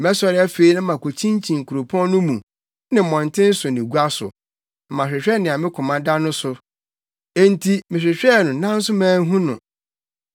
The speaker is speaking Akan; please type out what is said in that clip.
Mɛsɔre afei na makokyinkyin kuropɔn no mu, ne mmɔnten so ne gua so; na mahwehwɛ nea me koma da no so. Enti mehwehwɛɛ no nanso manhu no.